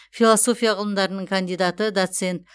философия ғылымдарының кандидаты доцент